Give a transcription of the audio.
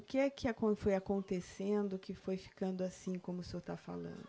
O que é que acon, foi acontecendo que foi ficando assim como o senhor está falando?